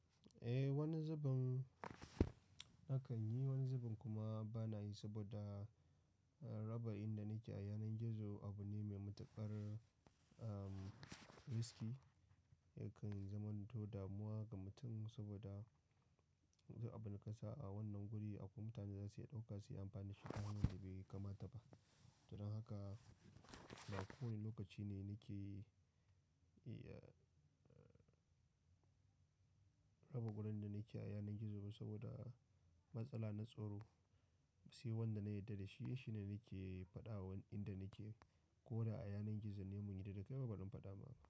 Eh, wani zubin akan yi, wani zubin kuma bana yi saboda raba inda nake a yanar gizo abu ne mai matuƙar risky yakan zama to damuwa ga mutum saboda abun ƙasa a wannan guri akwai mutane zasu iya ɗauka su yi amfani da shi tare da bai kamata ba. Don haka ba kowane lokaci ne nake rabu wurin da nike a yanar gizo saboda matsala na tsaro, sai wanda na yadda da shi, shi ne nake faɗa wa inda nike ko da a yanar gizo ne mun yarda da kai, ba ban faɗa ba.